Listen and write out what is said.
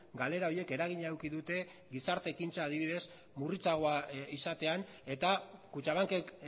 galera horiek eragina eduki dute gizarte ekintza adibidez murritzagoa izatean eta kutxabankek